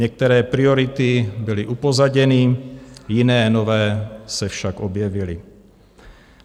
Některé priority byly upozaděny, jiné, nové se však objevily.